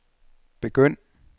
begynd